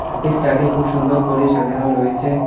অফিসটাকে খুব সুন্দর করে সাজানো রয়েছে।